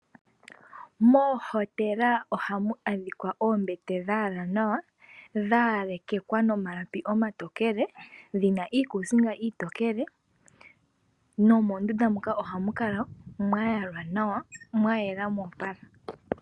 Moohotela ohamu adhikwa oombete dhayalwa nawa, dhayalekekwa nomalapi omatokele, dhina iikuusinga iitokele, nomondunda moka ohamu kala mwayalwa nawa mwayela moopala.